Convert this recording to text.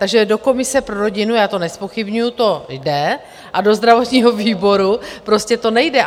Takže do komise pro rodinu, já to nezpochybňuji, to jde, a do zdravotního výboru prostě to nejde?